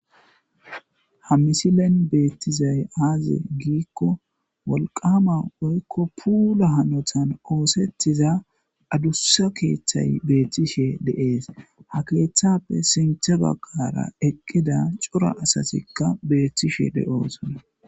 ha misilen beettizay aaze giikko wolqama oykko puula hanotan oosettiza adussa keeththay beethtishe deees ha keeththappe sinthe bagqara eqqida cura asatikka beethtishe de7oosona